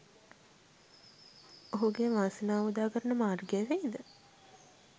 ඔහුගේ වාසනාව උදාකරන මාර්ගය වෙයිද?